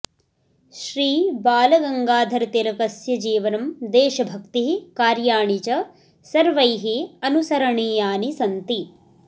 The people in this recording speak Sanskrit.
श्री बालगङ्गाधरतिलकस्य जीवनं देशभक्तिः कार्याणि च सर्वैः अनुसरणीयानि सन्ति